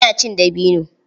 Ina cin dabino.